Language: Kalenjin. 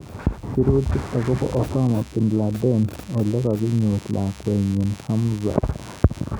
Sirutik akobo Osama Binladen olekakinyor lakwet nyi Hamza.